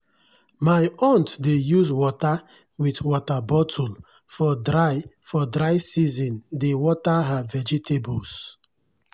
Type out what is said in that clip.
my aunt dey use water wit water bottle for dry for dry season dey water her vegetables.